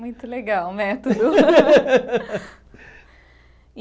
Muito legal o método.